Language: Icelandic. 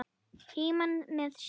Frímann með sér.